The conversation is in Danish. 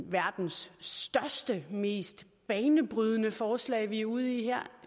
verdens største og mest banebrydende forslag vi er ude i her